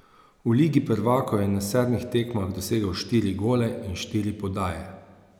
V ligi prvakov je na sedmih tekmah dosegel štiri gole in štiri podaje.